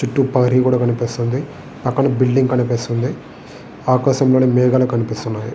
చుట్టూ ప్రహరీ గోడ కనిపిస్తున్నది. పక్కన బిల్డింగ్ కనిపిస్తున్నది. ఆకాశములొ మేఘాలు కనిపిస్తున్నాయి.